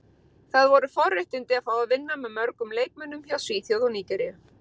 Það voru forréttindi að fá að vinna með mörgum leikmönnum hjá Svíþjóð og Nígeríu.